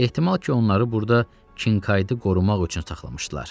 Ehtimal ki, onları burda Kinkaydı qorumaq üçün saxlamışdılar.